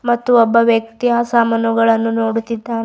ಮತ್ತು ಒಬ್ಬ ವ್ಯಕ್ತಿ ಆ ಸಾಮಾನುಗಳನ್ನು ನೋಡುತ್ತಿದ್ದಾನೆ.